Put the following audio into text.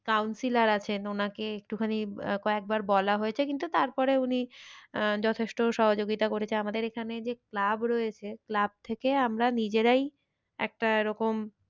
Counselor আছেন ওনাকে একটুখানি আঁ কয়েকবার বলা হয়েছে কিন্তু তারপরে উনি আহ যথেষ্ট সহযোগিতা করেছে আমাদের এখানে যে club রয়েছে club থেকে আমরা নিজেরাই একটা এরকম